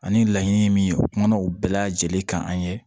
Ani laɲini min ye u kumana u bɛɛ lajɛlen kan an ye